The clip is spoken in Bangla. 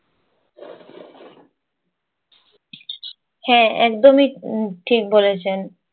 হ্যাঁ, একদমই উম ঠিক বলেছেন।